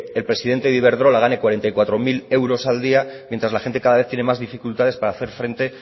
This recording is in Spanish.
el presidente de iberdrola gane cuarenta y cuatro mil euros al día mientras la gente cada vez tiene más dificultades para hacer frente